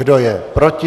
Kdo je proti?